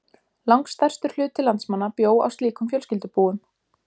Langstærstur hluti landsmanna bjó á slíkum fjölskyldubúum.